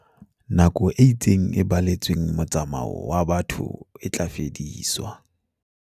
Nako e itseng e baletsweng motsa-mao wa batho e tla fediswa.